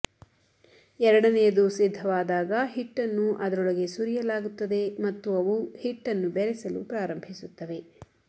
ಎರಡನೆಯದು ಸಿದ್ಧವಾದಾಗ ಹಿಟ್ಟನ್ನು ಅದರೊಳಗೆ ಸುರಿಯಲಾಗುತ್ತದೆ ಮತ್ತು ಅವು ಹಿಟ್ಟನ್ನು ಬೆರೆಸಲು ಪ್ರಾರಂಭಿಸುತ್ತವೆ